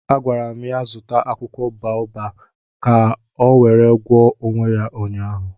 A gwara m ya zụta akwụkwọ boabab ka ọ were gwọọ onwe ya ụnyaahụ